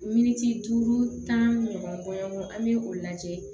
Miniti duuru tan ɲɔgɔn kɔnɔn an bɛ o lajɛ